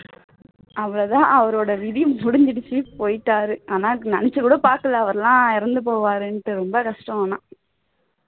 அவ்வளவுதான் அவருடைய விதி முடிஞ்சிருச்சு போயிட்டாரு ஆனால் நினைச்சு கூட பாக்கல அவர் எல்லாம் இறந்து போவாருன்னுட்டு ரொம்ப கஷ்டம் ஆனால்